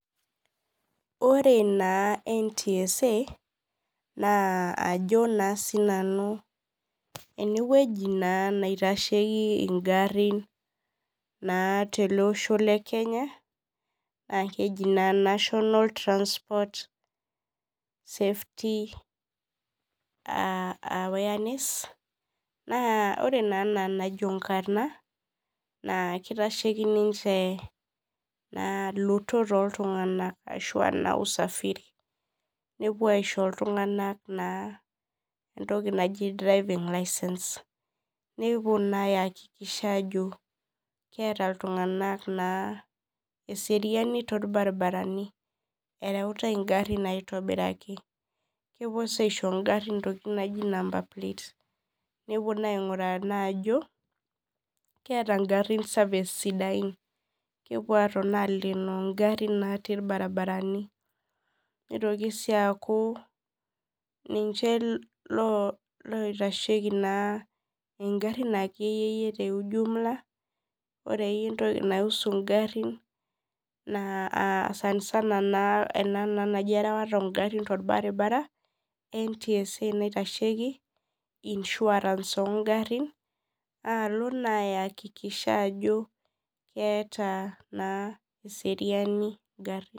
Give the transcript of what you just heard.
Ore na ntsa na ajo na sinanu enewueji na naitashieki ngarin teleosho lekenya na keji na national safety awareness na ore na ena enajo enkrna na kitashieki lotot oltunganak nepuo aisho ltunganak entoki naji driving licence nepuo na aikikisha ajo keeta ltunganak naa eseriani torbaribarani, ereutai ngarin aitobiraki kepuo na aisho ngarin ntokitin naji number plates nepuo na ainguraa ajo keeta ngarin service sidain kepuo na aleeno ngarin natii irbaribarani nitoki si aku ninche oitashieki nkera ore entoki naihusu ngarin na ntsa naitashieki insurance ongarinalo na ayakikisha ajo keeta na eseriani ngarin.